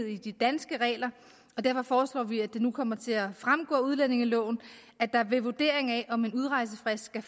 i de danske regler og derfor foreslår vi at det nu kommer til at fremgå af udlændingeloven at der ved vurderingen af om en udrejsefrist skal